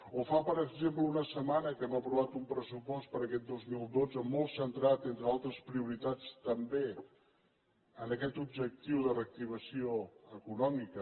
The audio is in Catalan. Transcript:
o fa per exemple una setmana que hem aprovat un pressupost per a aquest dos mil dotze molt centrat entre altres prioritats també en aquest objectiu de reactivació econòmica